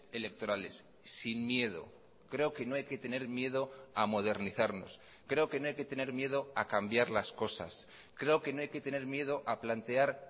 electorales sin miedo creo que no hay que tener miedo a modernizarnos creo que no hay que tener miedo a cambiar las cosas creo que no hay que tener miedo a plantear